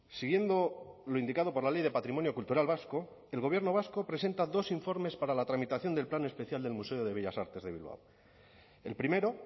siguiendo lo indicado por la ley de patrimonio cultural vasco el gobierno vasco presenta dos informes para la tramitación del plan especial del museo de bellas artes de bilbao el primero